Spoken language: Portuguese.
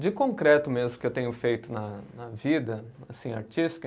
De concreto mesmo, que eu tenho feito na na vida, assim, artística.